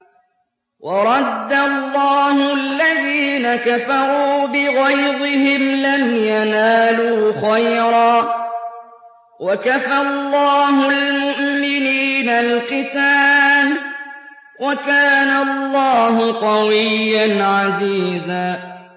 وَرَدَّ اللَّهُ الَّذِينَ كَفَرُوا بِغَيْظِهِمْ لَمْ يَنَالُوا خَيْرًا ۚ وَكَفَى اللَّهُ الْمُؤْمِنِينَ الْقِتَالَ ۚ وَكَانَ اللَّهُ قَوِيًّا عَزِيزًا